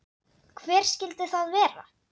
Hver skyldi það vera?